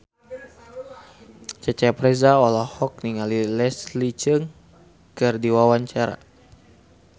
Cecep Reza olohok ningali Leslie Cheung keur diwawancara